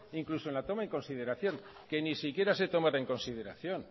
incluso en la toma en consideración que ni siquiera se tomara en consideración